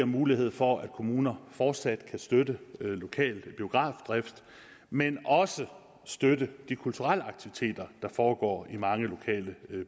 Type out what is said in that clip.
mulighed for at kommuner fortsat kan støtte lokal biografdrift men også støtte de kulturelle aktiviteter der foregår i mange lokale